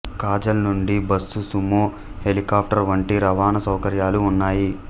ఖాజాల్ నుండి bus Sumo helicopter వంటి రవాణా సౌకర్యాలు ఉన్నాయి